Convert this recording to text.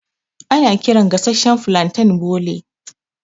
Ana kiran gasashshan flanten bole.